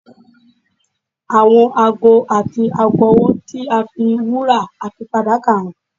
Àwọn aago àti aago ọwọ tí a fi wúrà àti fàdákà hàn